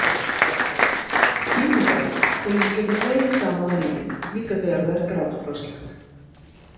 KÍMNIGÁFA- til þess að geta hlegið saman að lífinu, líka þegar það er grátbroslegt.